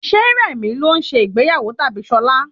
Ṣé rẹ̀mi ló ń se ìgbéyàwó tabi Ṣọla?